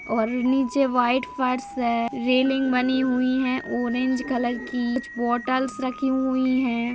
और नीचे व्हाइट फर्श है रेलिंग बनी हुई है ऑरेंज कलर की। कुछ बोतलस रखी हुई है।